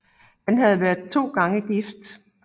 Han havde været to gange gift